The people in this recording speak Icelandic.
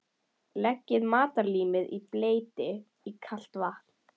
Leggið matarlímið í bleyti í kalt vatn.